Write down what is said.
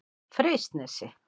Freysnesi